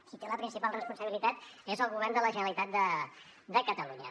qui té la principal responsabilitat és el govern de la generalitat de catalunya